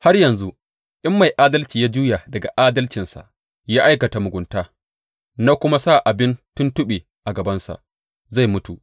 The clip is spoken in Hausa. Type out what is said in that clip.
Har yanzu, in mai adalci ya juya daga adalcinsa ya aikata mugunta, na kuma sa abin tuntuɓe a gabansa, zai mutu.